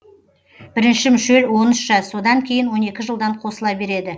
бірінші мүшел он үш жас содан кейін он екі жылдан қосыла береді